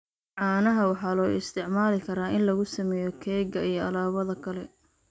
Caanaha waxaa loo isticmaali karaa in lagu sameeyo keega iyo alaabada kale.